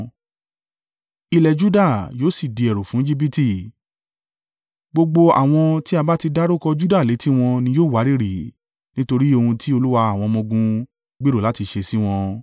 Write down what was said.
Ilẹ̀ Juda yóò sì di ẹ̀rù fún Ejibiti; gbogbo àwọn tí a bá ti dárúkọ Juda létí wọn ni yóò wárìrì, nítorí ohun tí Olúwa àwọn ọmọ-ogun gbèrò láti ṣe sí wọn.